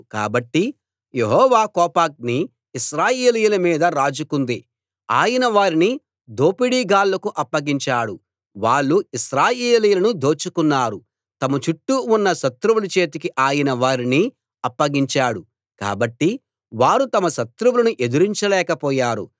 కాబట్టి యెహోవా కోపాగ్ని ఇశ్రాయేలీయుల మీద రాజుకుంది ఆయన వారిని దోపిడీగాళ్ళకు అప్పగించాడు వాళ్ళు ఇశ్రాయేలీయులను దోచుకున్నారు తమ చుట్టూ ఉన్న శత్రువుల చేతికి ఆయన వారిని అప్పగించాడు కాబట్టి వారు తమ శత్రువులను ఎదిరించలేకపోయారు